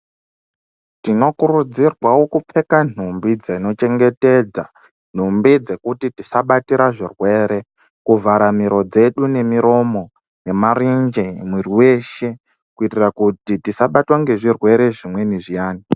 Tinokurudzirwawo kupfeka nhumbi dzinochengetedza kuti tisabatira zvirwere, kuvhara miro dzedu nemiromo nemarenje, mwiri weshe kuitira kuti tisabatwe ngezvirwere zvimweni zviyani.